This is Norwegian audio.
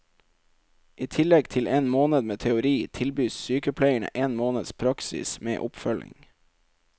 I tillegg til en måned med teori, tilbys sykepleierne en måned praksis med oppfølging.